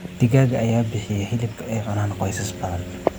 Digaagga ayaa bixiya hilibka ay cunaan qoysas badan.